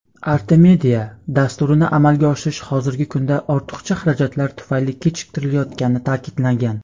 "Artemida" dasturini amalga oshirish hozirgi kunda ortiqcha xarajatlar tufayli kechiktirilayotgani ta’kidlangan.